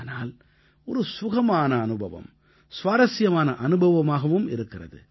ஆனால் ஒரு சுகமான அனுபவம் சுவாரசியமான அனுபவமாகவும் இருக்கிறது